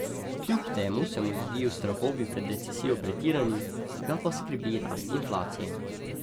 Kljub temu se mu zdijo strahovi pred recesijo pretirani, ga pa skrbi rast inflacije.